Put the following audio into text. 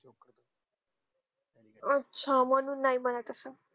अच्छा म्हणून नाही म्हणत असेल